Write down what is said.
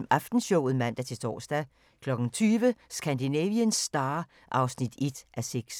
19:05: Aftenshowet (man-tor) 20:00: Scandinavian Star (1:6)